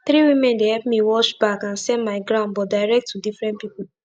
three women dey epp me wash bag and sell my ground but direct to different pipu